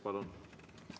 Palun!